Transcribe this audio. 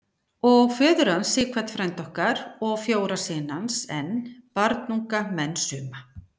Og föður hans, Sighvat frænda okkar, og fjóra syni hans enn, barnunga menn suma.